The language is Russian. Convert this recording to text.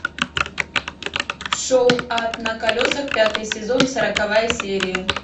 шоу ад на колесах пятый сезон сороковая серия